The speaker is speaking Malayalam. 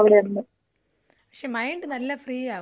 പക്ഷേ മൈൻഡ് നല്ല ഫ്രീ ആവുല്ലെ ഡാ ഇവിടെയൊക്കെ പോയാ.